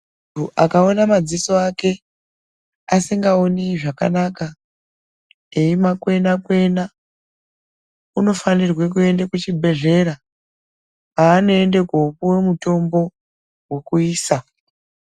Muntu akaona madziso Ake asingakoni zvakanaka eimakwena kwena unofaniree kuende kuchibhedhlera kwaanoende kupuwe mutombo wokuisa.